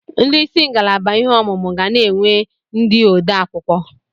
Ndị isi ngalaba ihe ọmụmụ ga na-enwe ndị odeakwụkwọ.